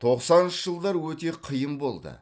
тоқсаныншы жылдар өте қиын болды